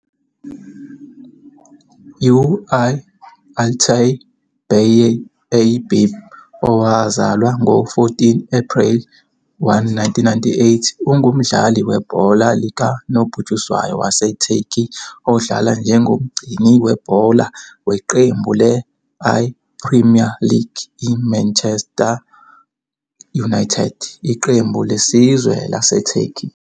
U-I-Altay Bay A A B, owazalwa ngo-14 April 1998, ungumdlali webhola likanobhutshuzwayo waseTurkey odlala njengomgcini webhola weqembu le-I-Premier League I-Manchester United Iqembu lesizwe laseTurkey.